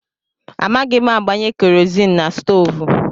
Amaghị m agbanye kerọzin na stoovú.